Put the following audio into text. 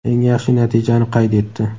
eng yaxshi natijani qayd etdi.